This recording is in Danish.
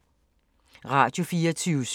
Radio24syv